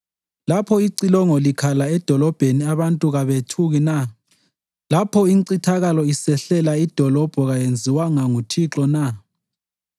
Lapho icilongo likhala edolobheni abantu kabethuki na? Lapho incithakalo isehlela idolobho kayenziwanga nguThixo na?